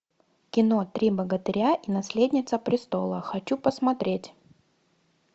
кино три богатыря и наследница престола хочу посмотреть